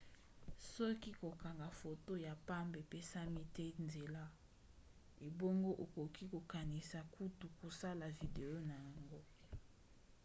soki kokanga foto ya pamba epesami te nzela ebongo okoki kokanisi kutu kosala video na yango